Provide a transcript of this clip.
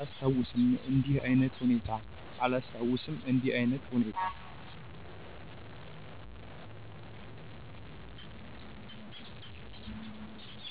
አላስታውስም እንዲህ አይነት ሁኔታ።